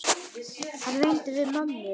Hann reyndi við mömmu!